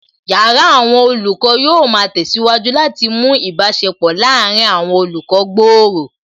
Yàrá àwọn olùkọ́ yóò ma tẹ̀síwájú láti mú ìbáṣepọ̀ láàárín àwọn olùkọ́ gbòòrò